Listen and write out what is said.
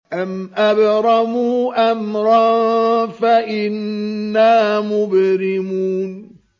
أَمْ أَبْرَمُوا أَمْرًا فَإِنَّا مُبْرِمُونَ